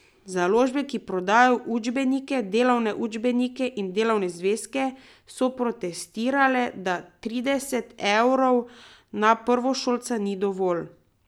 Založbe, ki prodajajo učbenike, delovne učbenike in delovne zvezke, so protestirale, da trideset evrov na prvošolca ni dovolj.